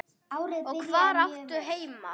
Og hvar áttu heima?